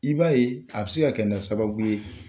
I b'a ye a bɛ se ka kɛ na sababu ye.